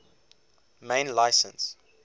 main license